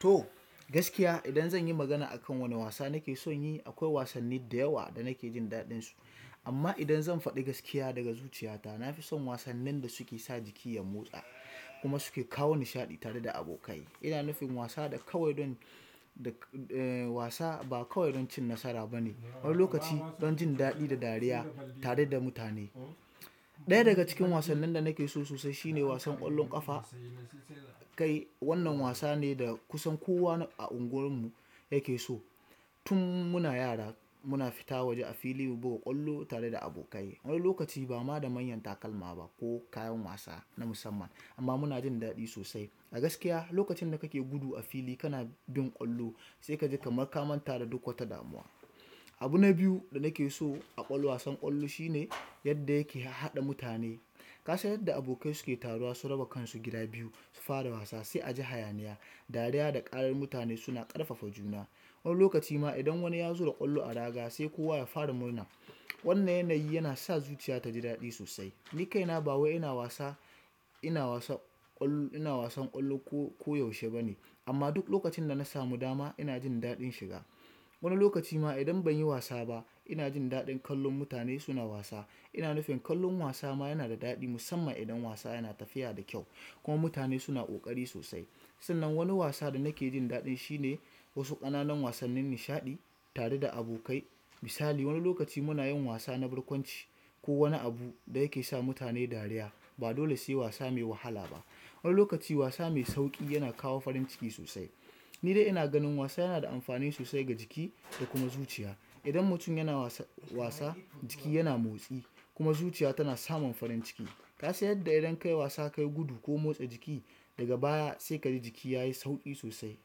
To gaskiya idan zan yi magana akan wane wasa nake son yi, akwai wasanni da yawa da nake jin daɗinsu. Amma idan zan faɗi gaskiya daga zuciyata, nafi son wasanen da suke sa jikinya motsa kuma suke kawo nishaɗi tare da abokai ina nufin wasa da kawai don, da e wasa ba kawai don cin nasara ba ne, wani lokaci don jin daɗi da dariya tare da mutane. Ɗaya daga cikin wasannin da nake so sosai shine wasan ƙwallon ƙafa. Kai wannan wasa ne da kusan kowa a unguwarmu yake so. Tun muna yara muna fita waje a fili mu buga ƙwallo tare da abokai. Wani lokaci ba ma da manyan takalma ba ko kayan wasa na musamman amma muna jin daɗi sosai. A gaskiya lokacin da kake gudu a fili kana bin ƙwallo sai ka ji kamar ka manta da duk wata damuwa. Abu na biyu da nake so a ƙwall wasan ƙwallo shine yadda yake haɗa mutane. Ka sha yadda abokai suke taruwa su raba kansu gida biyu su fara wasa, sai a ji hayaniya, dariya da ƙarar mutane suna ƙarfafa juna. Wani lokaci ma idan wani ya zo da ƙwallo a raga sai kowa ya fara murna. Wannan yanayi yana sa zuciya taji daɗi sosai. Ni kaina ba wai ina wasa, ina wasan ƙwallo, ina wasan ƙwallo ko koyaushe ba ne. Amma duk lokacin da na samu dama ina jin daɗin shiga. Wani lokaci ma idan ban yi wasa ba ina jin daɗin kallon mutane suna wasa. Ina nufin kallon wasa ma yana da daɗi musamman idan wasa yana tafiya da kyau kuma mutane suna ƙoƙari sosai. Sannan wani wasa da nake jin daɗin shine wasu ƙananan wasannin nishaɗi tare da abokai. Misali wani lokaci muna yin wasa na barkwanci ko wani abu da yake sa mutane dariya. Ba dole sai wasa mai wahala ba. Wani lokaci wasa mai sauƙi yana kawo farin ciki sosai. Ni dai ina ganin wasa yana da amfani sosai ga jiki da kuma zuciya. Idan mutum yana wasa wasa jiki yana motsi kuma zuciya tana samun farin ciki. Ka san yadda idan ka yi wasa ka yi gudu ko motsa jiki daga baya sai ka ji jiki yayi sauƙi sosai.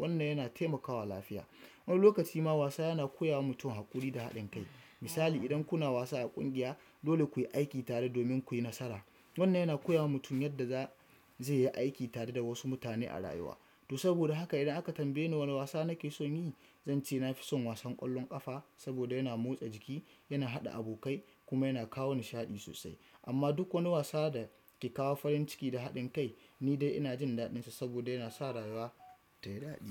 Wannan yana taimakawa lafiya. Wani lokaci ma wasa yana koya wa mutum haƙuri da haɗin kai. Misali idan kuna wasa a ƙungiya dole ku yi aiki tare domin ku yi nasara. Wannan yana koya wa mutum yadda za zai yi aiki tare da wasu mutane a rayuwa. To saboda haka idan aka tambaye ni wane wasa nake son yi, zan ce na fi son wasan ƙwallon ƙafa saboda yana motsa jiki, yana haɗa abokai kuma yana kawo nishaɗi sosai. Amma duk wani wasa da ke kawo farin ciki da haɗin kai ni dai ina jin daɗinsa saboda yana sa rayuwa tayi daɗi.